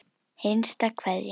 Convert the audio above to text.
HINSTA KVEÐJA.